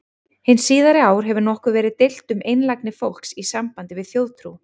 Hin síðari ár hefur nokkuð verið deilt um einlægni fólks í sambandi við þjóðtrú.